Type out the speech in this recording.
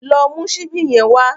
Lọ mú ṣíbí yẹn wá.